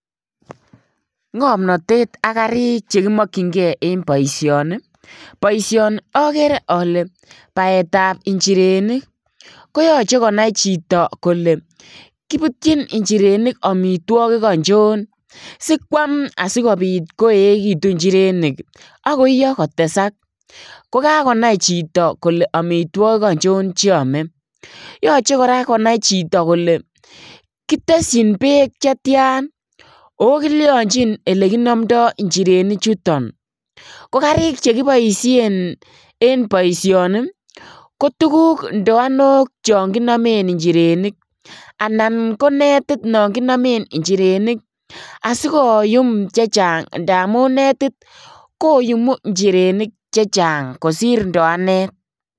Ngomnotet ak karik chekimokchingee en boision, boisioni okere ole baetab inchirenik koyoche konai chito kole kibutchin inchirenik omitwogik ochon sikuam asikobit koekitun inchirenik ak koiyo kotesak kokakonai chito kole omitwogik ochon cheome, yoche konai koraa chito kole kiteshin beek chetian oo kilionchin elekinomdo inchirenichuton, kokarik chekiboishen en boisioni kotuguk ndoanok chon kinomen inchirenik anan konetit nokinome inchirenik asikoyum chechang ndamun netit koyumu inchirenik chechang kosir ndoanet.